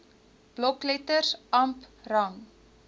blokletters amp rang